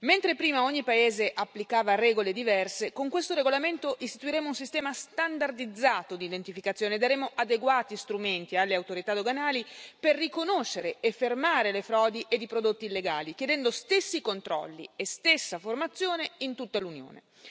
Mentre prima ogni paese applicava regole diverse, con questo regolamento istituiremo un sistema standardizzato di identificazione, daremo adeguati strumenti alle autorità doganali per riconoscere e fermare le frodi e i prodotti illegali, chiedendo stessi controlli e stessa formazione in tutta l'Unione.